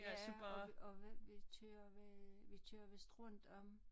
Ja og vi og vi kører ved vi kører vist rundt om